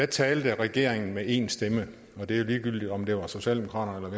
talte regeringen med én stemme og det var ligegyldigt om det var socialdemokraterne